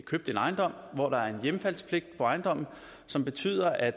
købt en ejendom hvor der er en hjemfaldspligt på ejendommen som betyder at